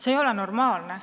See ei ole normaalne.